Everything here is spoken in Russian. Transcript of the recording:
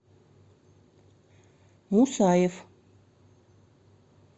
мусаев